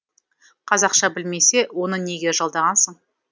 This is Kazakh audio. қазақша білмесе оны неге жалдағансың